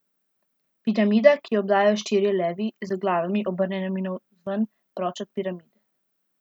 Piramida, ki jo obdajajo štirje levi, z glavami, obrnjenimi navzven, proč od piramide.